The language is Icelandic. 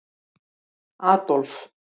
Adolf